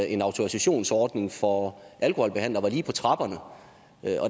en autorisationsordning for alkoholbehandlere var lige på trapperne